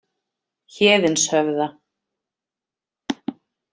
Héðinshöfða